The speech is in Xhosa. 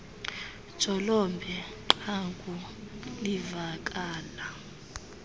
jolobe qanguie livakala